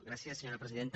gràcies senyora presidenta